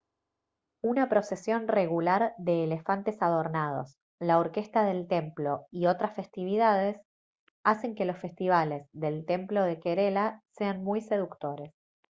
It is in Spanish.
una procesión regular de elefantes adornados la orquesta del templo y otras festividades hacen que los festivales del templo de kerela sean muy seductores